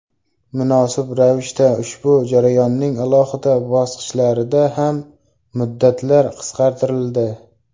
Munosib ravishda ushbu jarayonning alohida bosqichlarida ham muddatlar qisqartirildi.